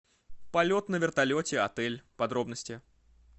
полет на вертолете отель подробности